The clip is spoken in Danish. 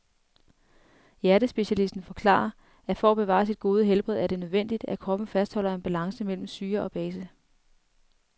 Hjertespecialisten forklarer, at for at bevare sit gode helbred er det nødvendigt, at kroppen fastholder en balance mellem syre og base.